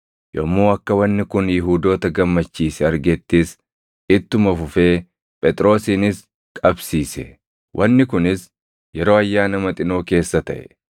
Yommuu akka wanni kun Yihuudoota gammachiise argettis, ittuma fufee Phexrosinis qabsiise. Wanni kunis yeroo Ayyaana Maxinoo keessa taʼe.